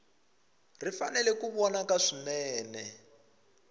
ri fanele ku vonaka swinene